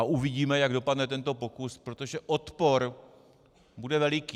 A uvidíme, jak dopadne tento pokus, protože odpor bude veliký.